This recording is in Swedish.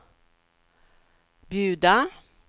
bjuda